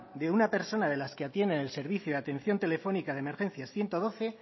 de una persona de las que atienden el servicio de atención telefónica de emergencias ciento doce